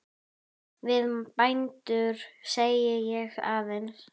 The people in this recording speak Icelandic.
Við bændur segi ég aðeins.